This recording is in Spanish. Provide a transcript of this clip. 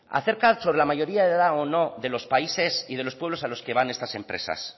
acerca sobre la mayoría de edad o no de los países y de los pueblos a los que van estas empresas